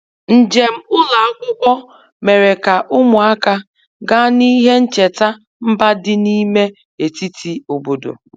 Njem ụlọ akwụkwọ mere ka ụmụaka gaa n'ihe ncheta mba dị n'ime etiti obodo.